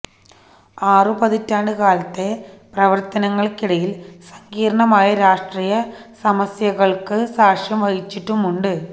ആറുപതിറ്റാണ്ട് കാലത്തെ പ്രവര്ത്തനങ്ങള്ക്കിടയില് സങ്കീര്ണമായ രാഷ്ട്രീയ സമസ്യകള്ക്ക് സാക്ഷ്യം വഹിച്ചിട്ടുമുണ്ട്